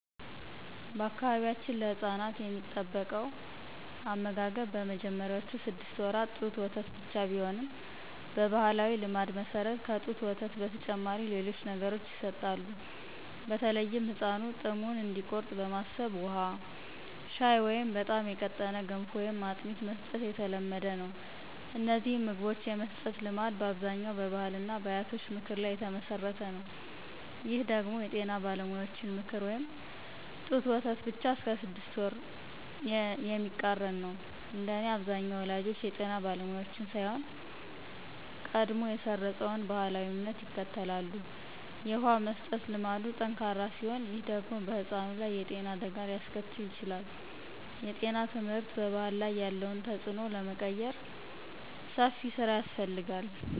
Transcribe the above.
በአካባቢያችን ለሕፃናት የሚጠበቀው አመጋገብ በመጀመሪያዎቹ ስድስት ወራት ጡት ወተት ብቻ ቢሆንም፣ በባሕላዊ ልማድ መሠረት ከጡት ወተት በተጨማሪ ሌሎች ነገሮች ይሰጣሉ። በተለይም ሕፃኑ ጥሙን እንዲቆርጥ በማሰብ ውሃ፣ ሻይ ወይም በጣም የቀጠነ ገንፎ ወይም አጥሚት መስጠት የተለመደ ነው። እነዚህን ምግቦች የመስጠት ልማድ በአብዛኛው በባሕልና በአያቶች ምክር ላይ የተመሠረተ ነው። ይህ ደግሞ የጤና ባለሙያዎችን ምክር (ጡት ወተት ብቻ እስከ ስድስት ወር) የሚቃረን ነው። እንደኔ አብዛኛው ወላጆች የጤና ባለሙያዎችን ሳይሆን፣ ቀድሞ የሰረፀውን ባሕላዊ እምነት ይከተላሉ። የውሃ መስጠት ልማዱ ጠንካራ ሲሆን፣ ይህ ደግሞ በሕፃኑ ላይ የጤና አደጋ ሊያስከትል ይችላል። የጤና ትምህርት በባሕል ላይ ያለውን ተጽዕኖ ለመቀየር ሰፊ ሥራ ያስፈልጋል።